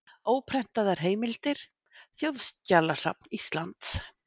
Óprentaðar heimildir: Þjóðskjalasafn Íslands.